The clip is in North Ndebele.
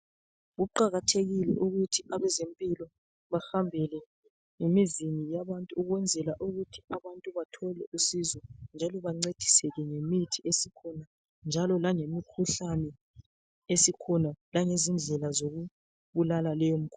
Kuqakathekile ukuthi abezempilo bahambele ngemizi yabantu ukuzela ukuthi abantu bathole umsizo njalo bancediseke ngemithi esikhona langezindlela zokubulala leyo mkhuhlane.